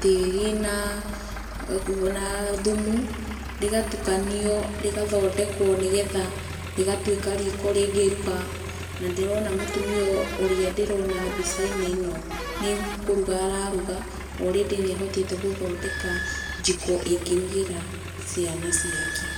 tĩri na, na thumu, rĩgatukanio, rĩgathondekwo nĩgetha rĩgatwĩka riko rĩngĩruga, na ndĩrona mũtumia ũrĩa ndĩrona mbica-inĩ ĩno nĩ kũruga araruga, orĩndĩ nĩ ahotete gũthondeka njiko ĩngĩrugĩra ciana ciake.